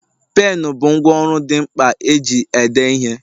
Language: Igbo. Penu bụ ngwá ọrụ dị mkpa eji ede ihe